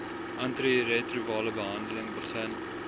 antiretrovirale behandeling begin